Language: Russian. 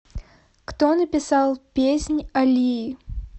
кто написал песнь о лии